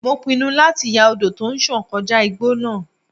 Mo pinnu láti ya odò tó ń sàn kọjá igbó náà.